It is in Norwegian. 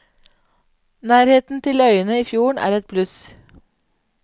Nærheten til øyene i fjorden er et pluss.